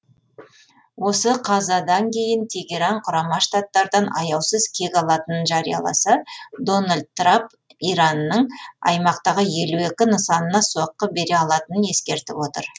осы қазадан кейін тегеран құрама штаттардан аяусыз кек алатынын жарияласа дональд трап иранның аймақтағы елу екі нысанына соққы бере алатынын ескертіп отыр